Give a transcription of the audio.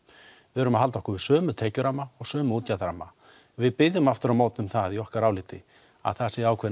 við verðum að halda okkur við sömu tekjuramma og sömu útgjaldaramma við biðjum aftur á móti um það í okkar áliti að það séu ákveðin